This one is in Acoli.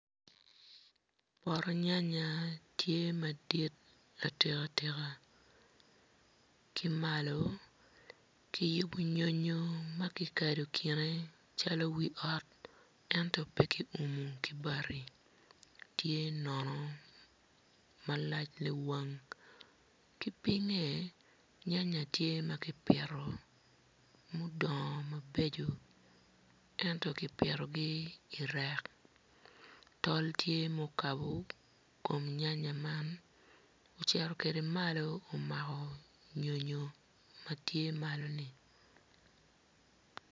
Poto nyanya madit atika tika ki malo kiyubo nyonyo i kine calo wi ot ento bene kiumo ki bati tye nono malac liwang ki pinye nyanya tye ma kipito mudongo mabeco ento kipitogi i reck tol tye mukabo kom nyanya man ocito kwede malo omako nyo nyo matye.